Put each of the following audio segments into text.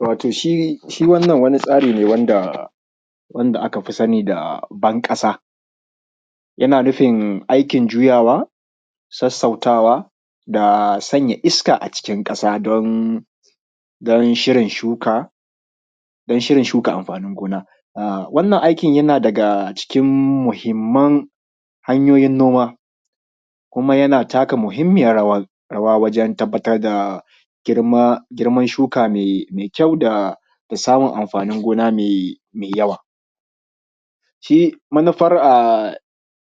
Wato shi wannan wani tsari ne wanda aka fi sani da banƙasa yana nufin aikin juyawa sassautawa da sanya iska a cikn ƙasa don shirin shuka amfanin gona, wannan aikin yana daga cikin muhimman hanyoyin gona kuma yana taka muhimmiyar rawa wajan tabbatar da girman shuka mai kyau da samun amfanin gona mai yawa. Shi manufar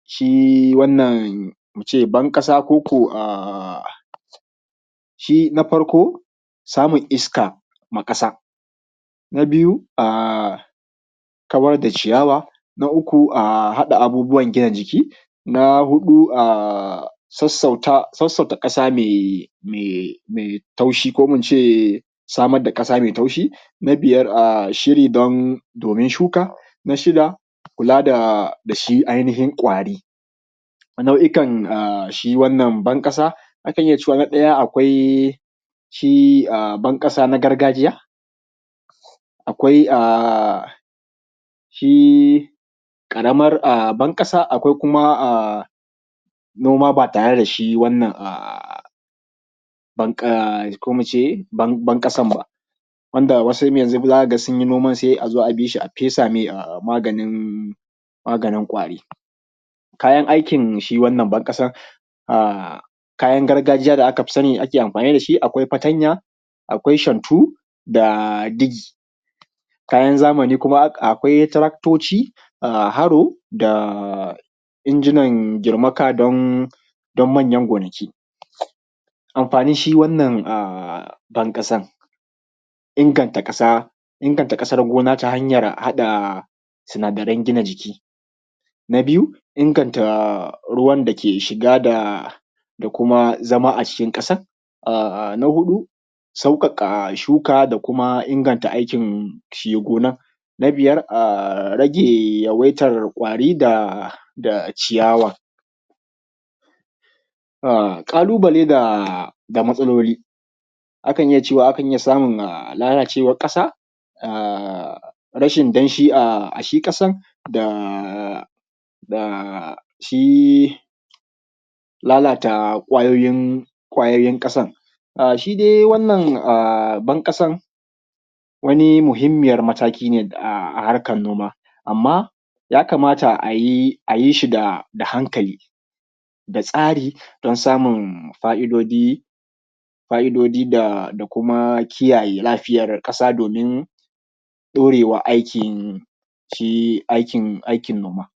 shi wannan in ce banƙaso koko wannan na shi na farko samun iska ma ƙasa. Na biyu a kawar da ciyawa, na uku a haɗa abubuwan gina jiki, na huɗu a sassauta ƙasa mai taushi ko kuma in ce samar da ƙasa mai taushi, na biyar shiri domin shuka, na shida kula da shi ainihin kwari. Na’uikan shi wannan ban ƙasa akan iya cewa na ɗaya akwai shi a banƙasa na gargajiya akwai shi ƙaramar banƙasa, akwai kuma na noma ba tare da shi wannan ko mu ce banƙasan ba wanda wasu yanzun za ka ga sun yi noman sai a zo a bi su, a fesa me maganin kwari. Kayan aikin shi wannan banƙasa na kayan gargajiya da aka fi sani ake amfani da shi akwai fatanya, akwai shantu da digi. Kayan zamani kuma akwai taraktoci, haro da injinan girmaka dan manyan gonaki, amfanin shi wannan a banƙasan inganta ƙasa, inganta ƙasar gonan ta hanyan haɗa sinadarai gina jiki, na biyu inganta ruwan da ke shiga da kuma zama a cikin ƙasan, na huɗu sauƙaƙa shuka da kuma ingnta aikin shi gonan, na biyar rage yawaitan kwari da ciyawa, ƙalubale da matsaloli a kan iya cewa akan iya samun lalacewar ƙasa, rashin danshi, a shi ƙasan da shi. Lalata kwayoyin ƙasan shi dai wannan a banƙasar wani muhimmiyar mataki ne a harkar noma, amma ya kamata a yi shi da hankali da tsari dan samun fa’idoji da kuma kiyaye lafiyar ƙasa domin ɗaurewa aikin shi aikin noma.